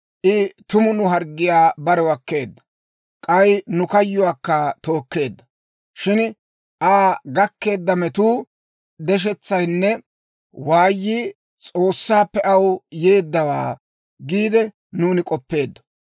I tumu nu harggiyaa barew akkeedda; k'ay nu kayyuwaakka tookkeedda. Shin Aa gakkeedda metuu, deshetsayinne waayii S'oossaappe aw yeeddawaa giide nuuni k'oppeeddo.